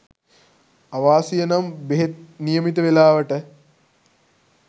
අවාසියනම් බෙහෙත් නියමිත වේලාවට